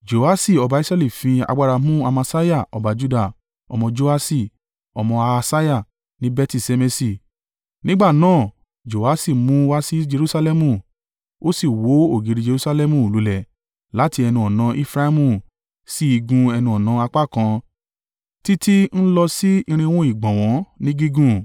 Jehoaṣi ọba Israẹli fi agbára mú Amasiah ọba Juda, ọmọ Joaṣi ọmọ Ahasiah ní Beti-Ṣemeṣi. Nígbà náà Joaṣi mú u wá sí Jerusalẹmu. Ó sì wó ògiri Jerusalẹmu lulẹ̀ láti ẹnu-ọ̀nà Efraimu sí igun ẹnu-ọ̀nà apá kan títí ń lọ sí irinwó (400) ìgbọ̀nwọ́ ní gígùn.